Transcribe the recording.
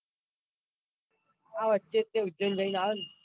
આ વચ્ચે તો ઉજ્જૈન જૈન આયો ન.